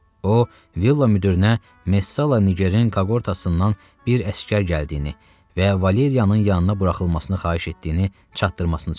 O villa müdirinə Messala Nigerin kohortasından bir əsgər gəldiyini və Valeriyanın yanına buraxılmasını xahiş etdiyini çatdırmasını söylədi.